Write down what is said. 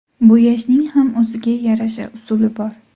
Bo‘yashning ham o‘ziga yarasha usuli bor.